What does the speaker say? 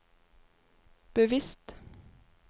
bevisst